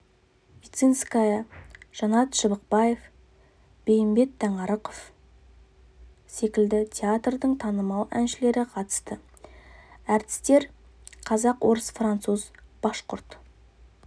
вицинская жанат шыбықпаев бейімбет таңарықов секілді театрдың танымал әншілері қатысты әртістер қазақ орыс француз башқұрт